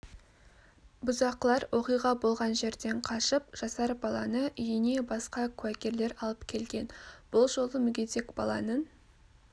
бұзақылар оқиға болған жерден қашып жасар баланы үйіне басқа куәгерлер алып келген бұл жолы мүгедек баланың